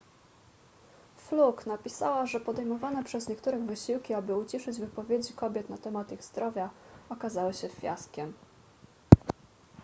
fluke napisała że podejmowane przez niektórych wysiłki aby uciszyć wypowiedzi kobiet na temat ich zdrowia okazały się fiaskiem